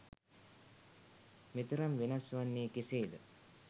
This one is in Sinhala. මෙතරම් වෙනස් වන්නේ කෙසේද